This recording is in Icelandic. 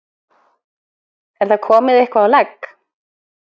Er það komið eitthvað á legg?